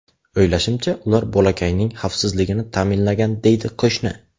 O‘ylashimcha, ular bolakayning xavfsizligini ta’minlagan”, deydi qo‘shni.